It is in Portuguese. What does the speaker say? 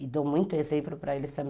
E dou muito exemplo para eles também.